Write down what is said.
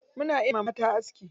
Muna iya wa mata aski.